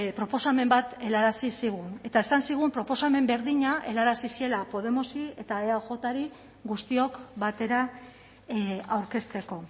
proposamen bat helarazi zigun eta esan zigun proposamen berdina helarazi ziela podemosi eta eajri guztiok batera aurkezteko